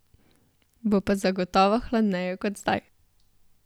Bo pa zagotovo hladneje kot zdaj.